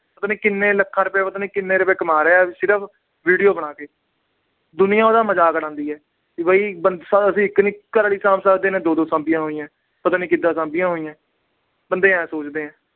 ਪਤਾ ਨੀ ਕਿੰਨੇ ਲੱਖਾਂ ਰੁਪਏ, ਪਤਾ ਨੀ ਕਿੰਨੇ ਰੁਪਏ ਕਮਾ ਰਿਹਾ, ਸਿਰਫ video ਬਣਾ ਕੇ। ਦੁਨੀਆ ਉਹਦਾ ਮਜਾਕ ਉਡਾਉਂਦੀ ਆ ਵੀ ਅਸੀਂ ਇੱਕ ਨੀ ਘਰ ਵਾਲੀ ਸਾਹਮ ਸਕਦੇ, ਇਹਨੇ ਦੋ-ਦੋ ਸਾਹਮੀਆਂ ਹੋਈਆਂ। ਪਤਾ ਨੀ ਕਿਦਾਂ ਸਾਂਭੀਆਂ ਹੋਈਆਂ, ਬੰਦੇ ਆਏ ਸੋਚਦੇ ਆ।